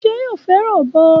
Ṣé yóò fẹràn ọbọ?